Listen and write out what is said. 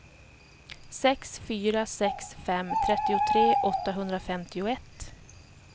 sex fyra sex fem trettiotre åttahundrafemtioett